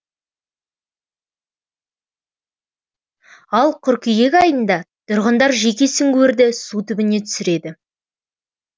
ал қыркүйек айында тұрғындар жеке сүңгуірді су түбіне түсіреді